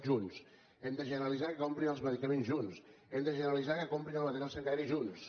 junts hem de generalitzar comprin els medicaments junts hem de generalitzar que comprin el material sanitari junts